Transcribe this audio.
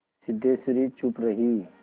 सिद्धेश्वरी चुप रही